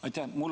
Aitäh!